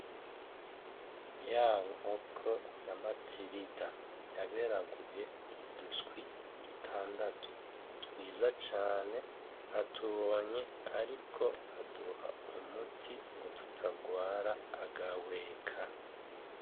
Ya nkoko ya Matirida yaberaguye uduswi dutandatu twiza cane atubohanye ariko aduha umuti ngo tutagwara agahweka.